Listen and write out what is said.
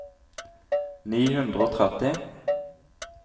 ni hundre og tretti